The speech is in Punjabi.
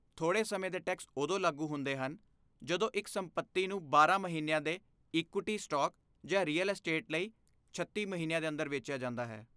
ਥੋੜ੍ਹੇ ਸਮੇਂ ਦੇ ਟੈਕਸ ਉਦੋਂ ਲਾਗੂ ਹੁੰਦੇ ਹਨ ਜਦੋਂ ਇੱਕ ਸੰਪੱਤੀ ਨੂੰ ਬਾਰਾਂ ਮਹੀਨਿਆਂ ਦੇ ਇਕੁਇਟੀ ਸਟਾਕ ਜਾਂ ਰੀਅਲ ਅਸਟੇਟ ਲਈ ਛੱਤੀ ਮਹੀਨਿਆਂ ਦੇ ਅੰਦਰ ਵੇਚਿਆ ਜਾਂਦਾ ਹੈ